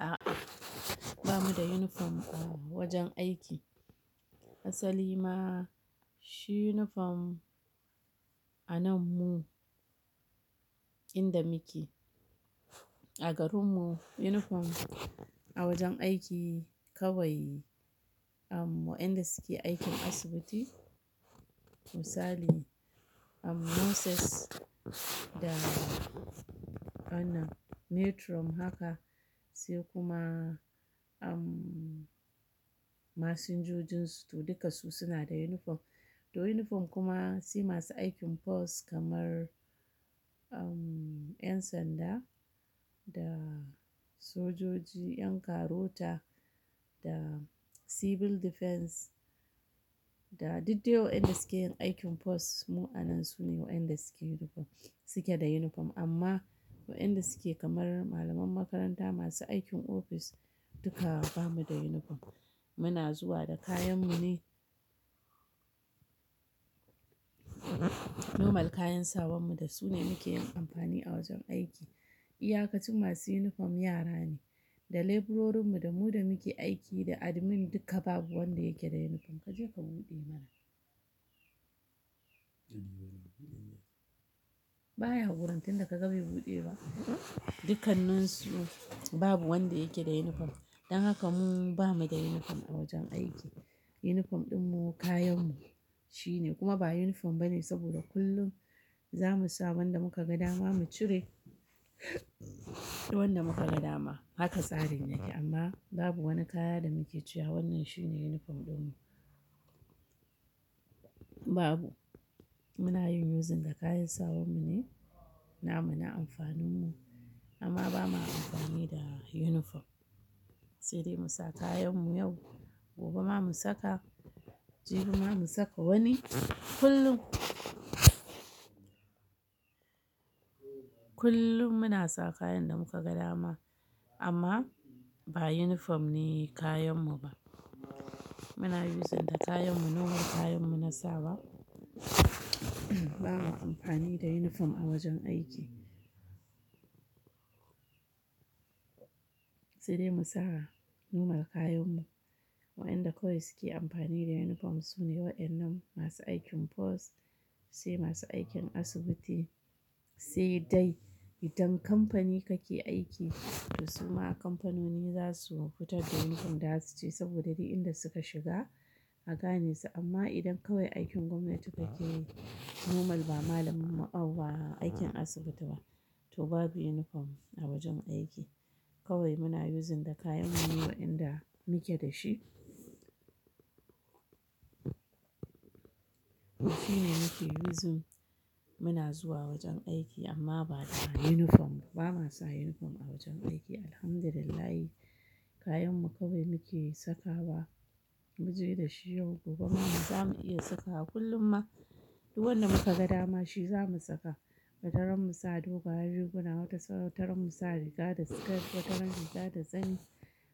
A'a, ba mu da uniform a wajen aiki. Asali ma shi uniform a nan mu inda muke a garin mu uniform a wajen aiki kawai wa'inda suke aikin asibiti. Misali, nurses da ana matron haka sai kuma masinjojin su duka su suna da uniform. To uniform kuma sai masu aikin force kamar 'yan sanda da sojoji, 'yan karota da civil defense da du dai wa'inda suke yin aikin force mu a nan su ne wa'inda suke da uniform amma wa'inda suke kamar malaman makaranta masu aikin ofis duka ba mu da uniform. Muna zuwa da kayan mu ne. Normal kayan sawan mu da su ne muke yin amfani a wajen aiki. Iya kaci masu uniform yara ne, da labourers mu da mu da muke aiki da admin duka babu wanda yake da uniform kaje ka buɗe mana. Baya gurin tun da ka ga bai buɗe ba? Dukannin su babu wanda yake da uniform. Dan haka mu ba mu da uniform a wajen aiki. Uniform ɗin mu kayan mu shine kuma ba uniform bane saboda kullum za mu sa wanda muka ga dama mu cire wanda muka ga dama haka tsarin yake amma babu wani kaya da muke cewa wannan shine uniform ɗin mu. Babu. Muna yin using da kayan sawan mu ne na mu na amfanin mu amma ba ma amfani da uniform. Sai dai mu sa kayan mu yau, gobe ma mu saka, jibi ma mu saka wani kullum. Kullum muna sa kayan da muka ga dama amma ba uniform ne kayan mu ba. Muna using da kayan mu normal kayan mu na sawa. Ba ma amfani da uniform a wajen aiki. Sai dai mu sa normal kayan mu. Wa'inda kawai suke amfani da uniform su ne wa'ennan masu aikin force sai masu aikin asibiti sai dai idan kamfani kake aiki to suma kamfanoni za su fitar da uniform za su ce saboda ni inda suka shiga a gane su amma idan kawai aikin gwamnati kake yi normal ba malamar mu'allima ba aikin asibiti ba to babu uniform a wajen aiki. Kawai muna using da kayan mu ne wa'inda muke da shi. Wannan shine muke using muna zuwa wajen aiki amma ba da uniform ba. Ba ma sa uniform a wajen aiki Alhamdulillah. Kayan mu kawai muke saka wa. Mu je da shi yau gobe ma mu za mu iya saka kullum ma duk wanda muka ga dama shi za mu saka. Wataran mu sa doguwa biyu suna wata wataran mu sa riga da siket wataran riga da zani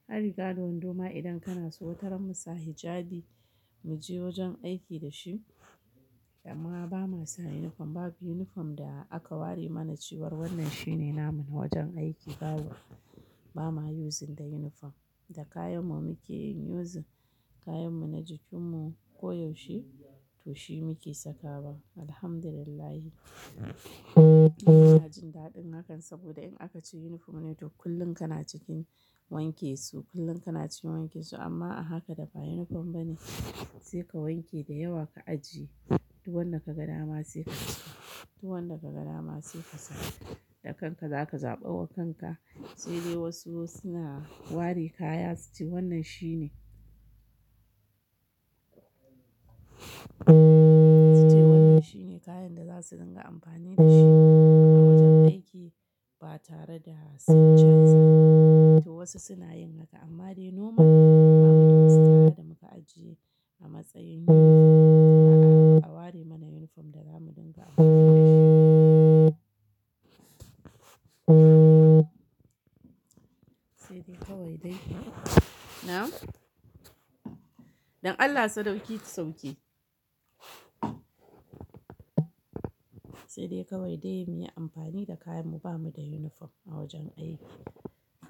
har riga da wando ma idan kana so wataran mu sa hijabi mu je wajen aiki da shi amma ba ma sa uniform babu uniform da aka ware mana cewar wannan shine na mu na wajen aiki babu. Ba ma using da uniform. Da kayan mu muke yin using kayan mu na jikin mu ko yaushe to shi muke saka wa Alhamdulillah. Mu taji daɗin hakan saboda in aka ce uniform ne to kullum kana cikin wanke su kullum kana cikin wanke su amma a haka da ba uniform bane sai ka wanke da yawa ka ajiye duk wanda ka ga dama sai ka cika duk wanda ka ga dama sai ka sa da kanka za ka zaɓa wa kanka sai dai wasu suna ware kaya suce wannan shine. Suce wannan shine kayan da za su dinga amfani da shi a wajen aiki ba tare da sun canza ba. To wasu suna yin haka amma dai normal ba mu da wasu kaya da muka ajiye a matsayin uniform ba a a ware mana uniform da za mu dinga amfani da shi. Sai dai kawai dai na? Don Allah sadauki sauke. Sai dai kawai dai muyi amfani da kayan mu ba mu da uniform a wajen aiki.